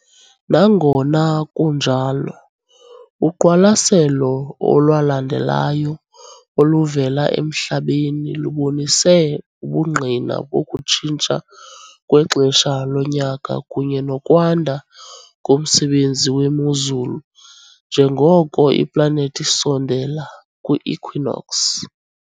Nangona kunjalo, uqwalaselo olwalandelayo oluvela eMhlabeni lubonise ubungqina bokutshintsha kwexesha lonyaka kunye nokwanda komsebenzi wemozulu njengoko iplanethi isondela kwi-equinox .